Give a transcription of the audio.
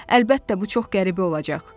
Əlbəttə, bu çox qəribə olacaq.